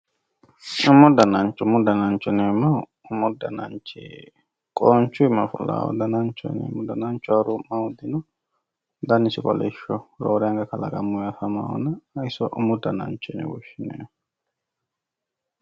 Umu danancho, umu danancho yineemmohu qonchu iima fulanoho dananchu, danancho yineemmo woyteno dannisi kolishoho roore anqa kalaqamanohonna iso umu danancho yinne woshshineemmo.